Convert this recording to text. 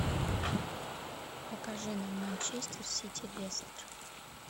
покажи нам манчестер сити лестер